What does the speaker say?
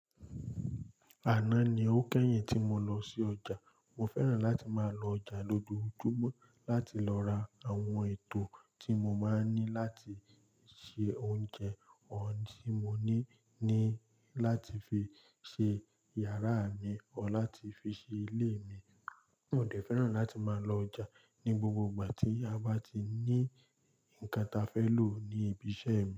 Àná ni ó kẹ́yìn tí mo lọ sí ọjà. Mo fẹ́ràn láti máa lọ ọjà lójoojúmọ́ láti lọ ra àwọn ètò tí mo máa ń ní láti se oúnjẹ, òun tí mo ní ní láti fi ṣe yàrá mi o láti fi ṣe ilé mi. Mo dẹ̀ fẹ́ràn láti máa lọ ọjà ní gbogbo ìgbà tí a bá ti ní nǹkan ta fẹ́ lò ní ibi iṣẹ́ mi.